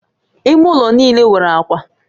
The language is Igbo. Ime ụlọ niile nwere akwa